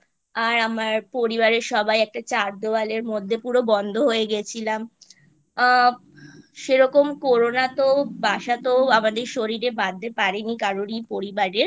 আর আমার পরিবারের সবাই একটা চার দেওয়ালের মধ্যে পুরো বন্ধ হয়ে গেছিলাম আ সেরকম Corona তো বাসাতো আমাদের শরীরে বাঁধতে পারেনি কারোরই পরিবারের